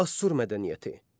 Assur mədəniyyəti.